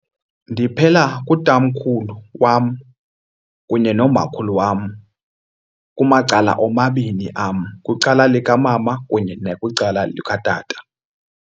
Ndiphela kutamkhulu wam kunye nomakhulu wam kumacala omabini am, kwicala likamama kunye nakwicala likatata.